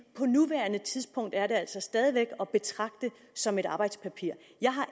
på nuværende tidspunkt altså stadig væk at betragte som et arbejdspapir